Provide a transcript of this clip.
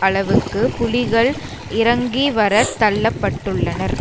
அளவுக்கு புலிகள் இறங்கிவரத் தள்ள பட்டுள்ளனர்